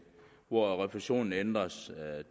hvor refusionen ændres